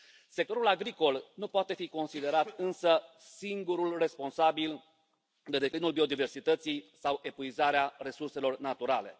Sectorul agricol nu poate fi considerat însă singurul responsabil de declinul biodiversității sau epuizarea resurselor naturale.